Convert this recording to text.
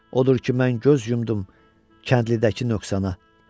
Odur ki, mən göz yumdum kəndlidəki nöqsana.